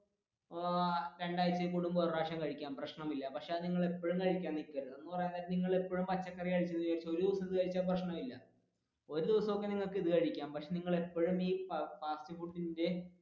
ഇപ്പോ രണ്ടാഴ്‌ച ഒക്കെ കൂടുമ്പോൾ ഒരു പ്രാവശ്യം കഴിക്കാം പ്രശ്നമില്ല പക്ഷെ നിങ്ങൾ എപ്പോഴും കഴിക്കാൻ നിക്കരുത്